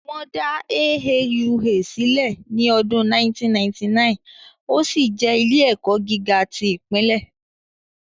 Wọ́n dá AAUA sílẹ̀ ní ọdún 1999, ó sì jẹ́ ilé-ẹ̀kọ́ gíga tí ìpínlẹ̀